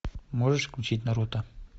можешь включить наруто